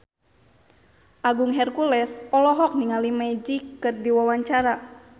Agung Hercules olohok ningali Magic keur diwawancara